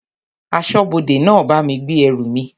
Aṣọ́bodè náà bá mi gbé ẹrù mi.